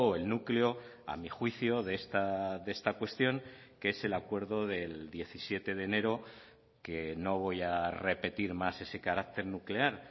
el núcleo a mi juicio de esta cuestión que es el acuerdo del diecisiete de enero que no voy a repetir más ese carácter nuclear